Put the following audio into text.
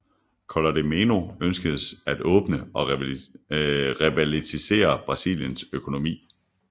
Collor de Mello ønskede at åbne og revitalisere Brasiliens økonomi